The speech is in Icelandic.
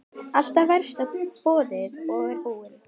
Alltaf varstu boðinn og búinn.